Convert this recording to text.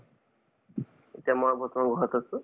এতিয়া মই বৰ্তমান ঘৰত আছো